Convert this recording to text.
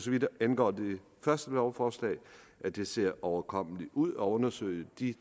vidt angår det første lovforslag at det ser overkommeligt ud at undersøge de